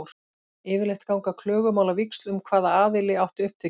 Yfirleitt ganga klögumál á víxl um hvaða aðili átti upptökin.